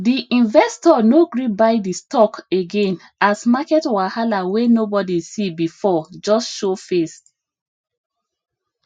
di investor no gree buy di stock again as market wahala wey nobody see before just show face